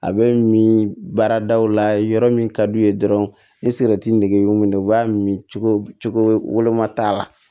A bɛ min baara daw la yɔrɔ min ka d'u ye dɔrɔn ni y'u minɛ u b'a min min cogo woloma t'a la